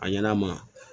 A ɲɛna a ma